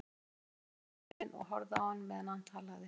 Hún stóð við rúmgaflinn og horfði á hann meðan hann talaði.